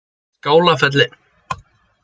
Skálafelli